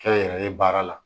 Kɛnyɛrɛye baara la